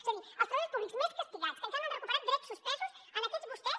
és a dir els treballadors públics més castigats que encara no han recuperat drets suspesos en aquests vostès